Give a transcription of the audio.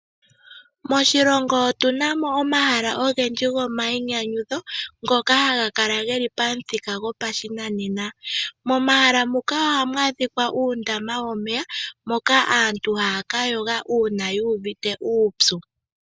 Moshilongo otunamo omahala ogendgi gomayi nyanyudho ngoka haga kala geli pamuthika gopashinanena. Momahala muka ohamu adhika uundama womeya moka aantu haya kayoga uuna yuuvite uupyu.